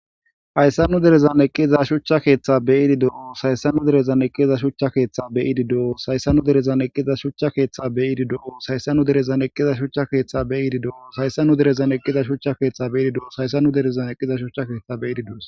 hayssannu derezan eqqiza shucha keeththa beyidi doo sayssannu derezan eqqiza shuchcha keeththa beyidi do7o sayssannu derezan eqqiza shuchcha keeththa beyidi do7o sayssannu derezan eqqiza shuchcha keeththa beyidi doo saysannu derezan eqqiza shuchcha keeththa beyidi doo saysannu derezan eqqiza shucha keeththa beyidi doos